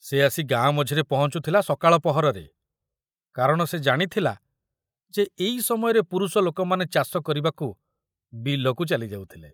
ସେ ଆସି ଗାଁ ମଝିରେ ପହଞ୍ଚୁଥିଲା ସକାଳ ପହରରେ, କାରଣ ସେ ଜାଣିଥିଲା ଯେ ଏଇ ସମୟରେ ପୁରୁଷ ଲୋକମାନେ ଚାଷ କରିବାକୁ ବିଲକୁ ଚାଲି ଯାଉଥିଲେ।